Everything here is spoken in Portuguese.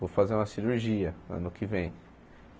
Vou fazer uma cirurgia ano que vem.